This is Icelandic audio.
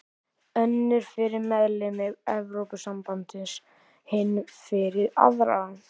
Önnur fyrir meðlimi Evrópusambandsins, hin fyrir aðra.